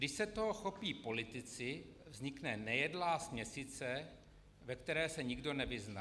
Když se toho chopí politici, vznikne nejedlá směsice, ve které se nikdo nevyzná.